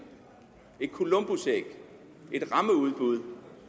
et columbusæg et rammeudbud